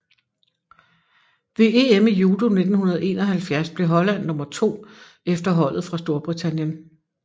Ved EM i judo 1971 blev holland nummer to efter holdet fra Storbritannien